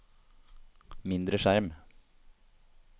mindre skjerm